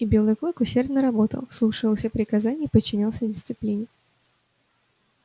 и белый клык усердно работал слушался приказаний и подчинялся дисциплине